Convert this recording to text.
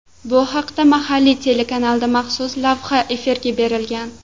Bu haqda mahalliy telekanalda maxsus lavha efirga berilgan .